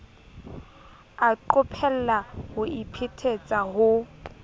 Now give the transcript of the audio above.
a qophella ho iphetetsa ho